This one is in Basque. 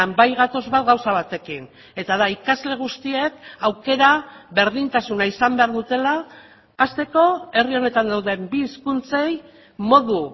bai gatoz bat gauza batekin eta da ikasle guztiek aukera berdintasuna izan behar dutela hasteko herri honetan dauden bi hizkuntzei modu